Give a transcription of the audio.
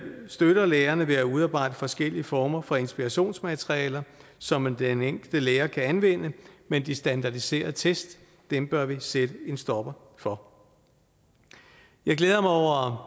støtter lærerne ved at udarbejde forskellige former for inspirationsmaterialer som den enkelte lærer kan anvende men de standardiserede test bør vi sætte en stopper for jeg glæder mig over